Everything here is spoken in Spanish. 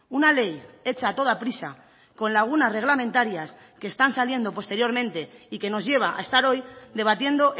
una ley hecha a toda prisa con lagunas reglamentarias que están saliendo posteriormente y que nos lleva a estar hoy debatiendo